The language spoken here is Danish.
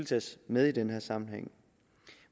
tages med i den her sammenhæng